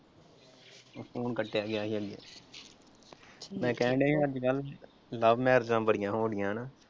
Phone ਕੱਟਿਆ ਗਿਆ ਸੀ ਮੈਂ ਕਹਿਣ ਡਿਆਂ ਸੀ ਅੱਜਕਲ੍ਹ love ਮੈਰਿਜਾਂ ਬੜੀਆਂ ਹੋਣ ਡਿਈਆਂ ਹਨਾ।